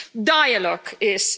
Dialogue is.